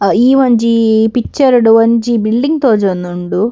ಅಹ್ ಈ ಒಂಜಿ ಪಿಕ್ಚರ್‌ಡ್‌ ಒಂಜಿ ಬಿಲ್ಡಿಂಗ್‌ ತೋಜೋಂದುಂಡು.